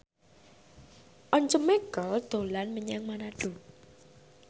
Once Mekel dolan menyang Manado